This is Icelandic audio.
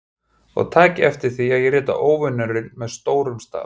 Og takið eftir því að ég rita Óvinurinn með stórum staf.